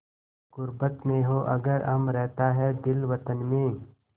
ग़ुर्बत में हों अगर हम रहता है दिल वतन में